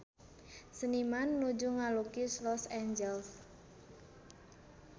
Seniman nuju ngalukis Los Angeles